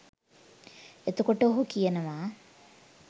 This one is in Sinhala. එතකොට ඔහු කියනවා